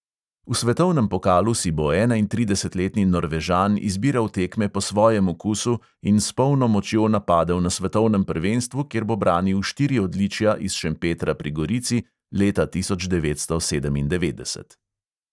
V svetovnem pokalu si bo enaintridesetletni norvežan izbiral tekme po svojem okusu in s polno močjo napadel na svetovnem prvenstvu, kjer bo branil štiri odličja iz šempetra pri gorici leta tisoč devetsto sedemindevetdeset.